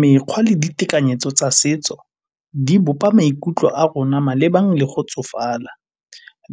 Mekgwa le ditekanyetso tsa setso di bopa maikutlo a rona malebana le go tsofala,